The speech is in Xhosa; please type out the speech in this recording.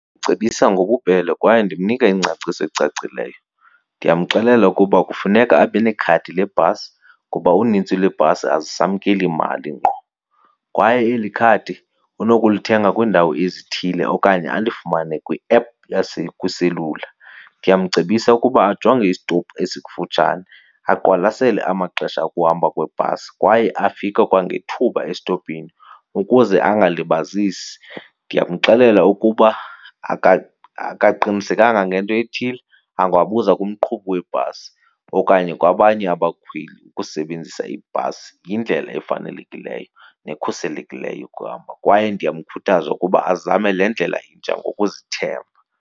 Cebisa ngobubele kwaye ndimnika ingcaciso ecacileyo. Ndiyamxelela ukuba kufuneka abe nekhadi lebhasi ngoba unintsi lweebhasi azisamkeli mali ngqo kwaye eli khadi unokulithenga kwiindawo ezithile okanye alifumane kwi-app kwiselula. Ndiyamcebisa ukuba ajonge isitopu esikufutshane, aqwalasele amaxesha okuhamba kwebhasi kwaye afike kwangethuba esitopini ukuze angalibazisi. Ndiyamxelela ukuba akaqinisekanga ngento ethile, angabuza kumqhubi webhasi okanye kwabanye abakhweli. Ukusebenzisa ibhasi yindlela efanelekileyo nekhuselekileyo yokuhamba, kwaye ndiyamkhuthaza ukuba azame le ndlela intsha ngokuzithemba.